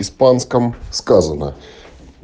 испанском сказано